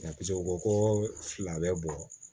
Nka u ko ko fila bɛɛ bɔ